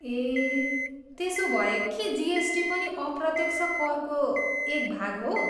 ए, त्यसोभए के जिएसटी पनि अप्रत्यक्ष करको एक भाग हो?